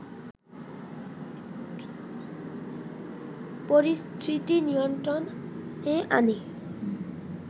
পরিস্থিতি নিয়ন্ত্রণে আনে